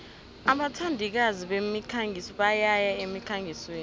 abathandikazi bemikhangiso bayaya emkhangisweni